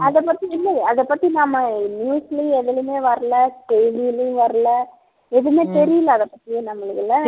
அதைப் பத்தி இல்லையே அதைப் பத்தி நாம news லயும் எதுலயுமே வரலை செய்திலயும் வரலை எதுவுமே தெரியலே அதைப் பத்தி நம்மளுக்கு இல்லை